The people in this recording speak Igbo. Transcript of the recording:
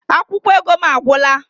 Akwụkwọ ego m agwụla